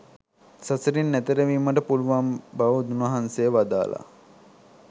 සසරින් එතෙර වීමට පුළුවන් බව උන්වහන්සේ වදාළා.